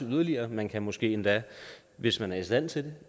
yderligere og man kan måske endda hvis man er i stand til